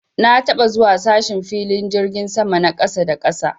Na taɓa zuwa sashen filin jirgin sama na ƙasa da ƙasa.